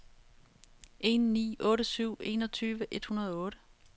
en ni otte syv enogtyve et hundrede og otte